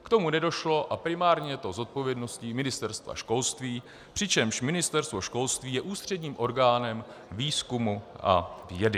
K tomu nedošlo a primárně je to zodpovědností Ministerstva školství, přičemž Ministerstvo školství je ústředním orgánem výzkumu a vědy.